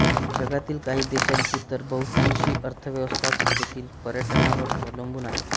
जगातील काही देशांची तर बहुतांशी अर्थव्यवस्थाच तेथील पर्यटनावर अवलंबून आहे